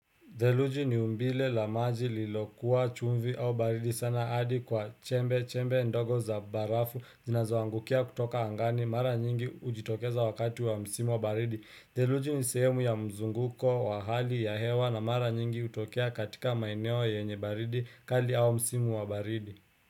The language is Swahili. Deluji ni umbile lamaji lilokuwa chumvi au baridi sana adi kwa chembe, chembe ndogo za barafu, zinazoangukia kutoka angani, mara nyingi ujitokeza wakati wa msimu wa baridi. Deluji ni sehemu ya mzunguko wa hali ya hewa na mara nyingi utokea katika maeneo ya yenye baridi, kali au msimu wa baridi.